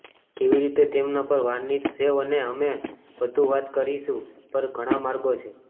કેવી રીતે તેમના પર વાર્નિશ સેવ અને અમે વધુ વાત કરીશું પર ઘણા માર્ગો છે